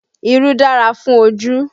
Irú dára fún ojú